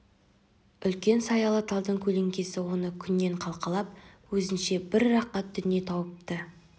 үлкен саялы талдың көлеңкесі оны күннен қалқалап өзінше бір рақат дүние тауыпты